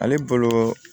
Ale bolo